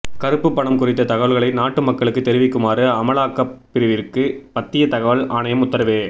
கருப்புப் பணம் குறித்த தகவல்களை நாட்டு மக்களுக்கு தெரிவிக்குமாறு அமலாக்கப் பிரிவிற்கு மத்திய தகவல் ஆணையம் உத்தரவு